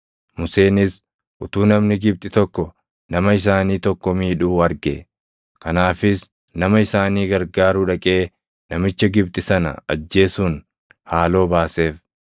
Museenis utuu namni Gibxi tokko nama isaanii tokko miidhuu arge. Kanaafis nama isaanii gargaaruu dhaqee namicha Gibxi sana ajjeesuun haaloo baaseef.